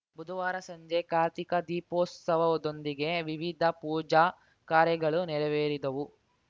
ಬುಧವಾರ ಸಂಜೆ ಕಾರ್ತಿಕ ದೀಪೋತ್ಸವದೊಂದಿಗೆ ವಿವಿಧ ಪೂಜಾ ಕಾರ್ಯಗಳು ನೆರವೇರಿದವು